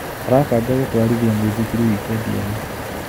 Arabanga gũtwarithia mũithikiri wikendi ĩno.